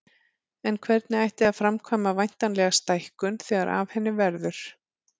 En hvernig ætti að framkvæma væntanlega stækkun þegar af henni verður.